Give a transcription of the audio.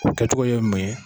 O kɛcogo ye mun ye?